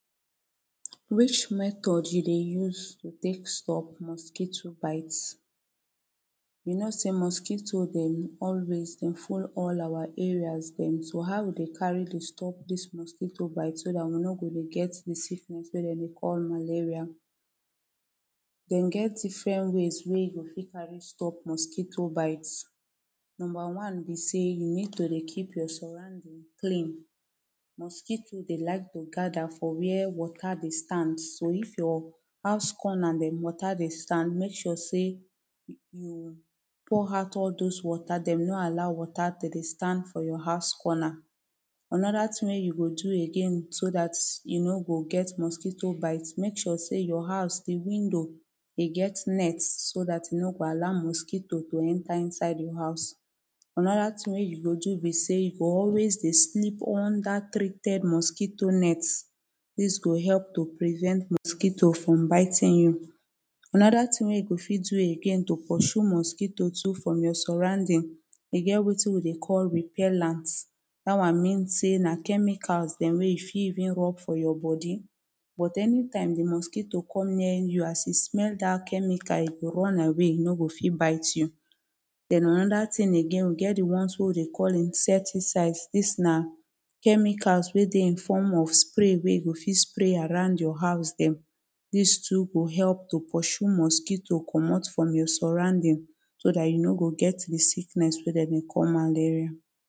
Wich metod you dey use to tek stop mosquito bite You know say mosquito dem always dem full all our areas dem so how we go carry to stop dis mosquito bite so dat we no go dey get de sickness wey dem dey call malaria Dem get different ways wey carry stop mosquito bite Number one be say you need to dey keep your surrounding clean Mosquito dem dey like to gada for where wata dey stand so if your house corner dem wata dey stand make sure say you pour out all those water dem no allow water to dey stand for your house corner. Anoda tin wey you go do again so dat you no go get mosquito bite, make sure say your house de window e get beta so dat e no go allow mosquito to enter inside your house. Anoda tin wey you go do be say you g always dey sleep under treated mosquito net dis go help to prevent mosquito from biting you. Anoda tin wey you go fit do again to pursue mosquito too from your surrounding e get wetin we dey call repellant dat one means say na chemicals dem wey you fit even rub for your body but anytime de mosquito comes near you as e smell dat chemical e go run away e no go fit bite you den anoda tin again we get de ones wey we dey call insecticide dis na chemicals wey dey in form of spray wey you go fit spray around your house dem dis too go help to pursue mosquito comot from your surrounding so dat you no go get the sickness wey dem dey call malaria